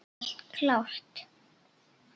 Er allt klárt?